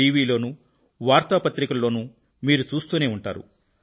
TV లోనూ వార్తా పత్రికలలోనూ మీరు చూస్తూనే ఉంటారు